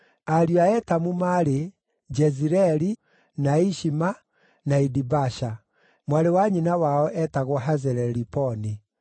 Ariũ a Etamu maarĩ: Jezireeli, na Ishima, na Idibasha. Mwarĩ wa nyina wao eetagwo Hazeleliponi.